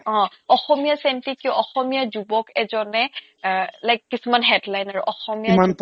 অ অসমীয়া চেন্টি কিয় অসমীয়া যুবক এজনে এ like কিছুমান headline আৰু অসমীয়া কিমান